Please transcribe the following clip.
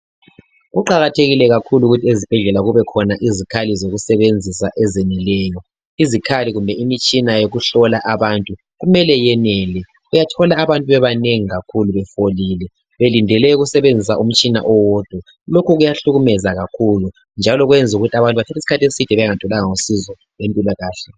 Kuqakathekile kakhulu ukuthi ezibhedlela kube khona izikhali zokusebenzisa ezeneleyo ,izikhali kumbe imitshina yokuhlola abantu kumele yenele uyathola abantu bebenengi kakhulu befolile belindele ukusebenzisa umtshina owodwa lokho kuyahlukumeza kakhulu njalo kwenza ukuthi abantu bathathe isikhathi eside bengatholanga usizo empilakahle.